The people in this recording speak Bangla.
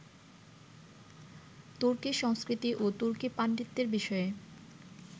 তুর্কি সংস্কৃতি ও তুর্কি পাণ্ডিত্যের বিষয়ে